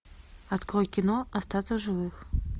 открой кино остаться в живых